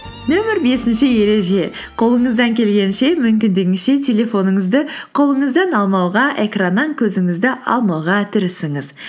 нөмір бесінші ереже қолыңыздан келгенше мүмкіндігінше телефоныңызды қолыңыздан алмауға экраннан көзіңізді алмауға тырысыңыз